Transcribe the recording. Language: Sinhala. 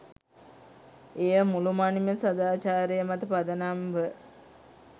එය මුළුමනින්ම සදාචාරය මත පදනම්ව